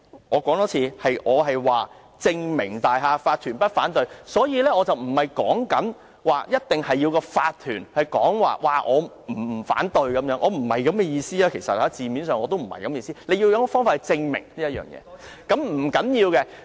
我重申，我說的是"證明大廈法團不反對"，而不是一定要法團表示不反對，我字面上的意思不是這樣，只是要有方法來證明這一點。